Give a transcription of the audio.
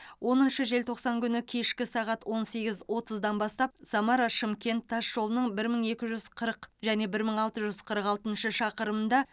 оныншы желтоқсан күні кешкі сағат он сегіз отыздан бастап самара шымкент тасжолының бір мың екі жүз қырық және бір мың алты жүз қырық алты шақырымында